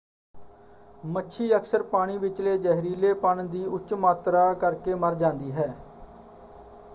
ਮੱਛੀ ਅਕਸਰ ਪਾਣੀ ਵਿਚਲੇ ਜ਼ਹਿਰੀਲੇਪਣ ਦੀ ਉੱਚ ਮਾਤਰਾ ਕਰਕੇ ਮਰ ਜਾਂਦੀ ਹੈ।